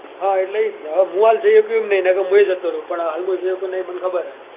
હા એટલે એ જ ને હવે મુ હાલ જઈ શકું એમ નઈ નઈ તો મુ જ જતો રોંવ પણ હાલ મુ જઈ સકું એમ નઈ એ મને ખબર છે.